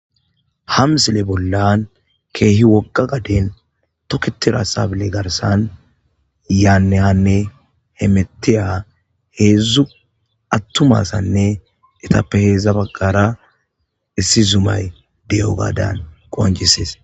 Ham sile bollan keehi woqa gaden toketira sabile garsan yaanne hanne hemetiya heedzdzu attumasanne etappe heedzdza bagqara issi zumay deyo gadan qonjisees